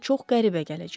Sizə çox qəribə gələcək.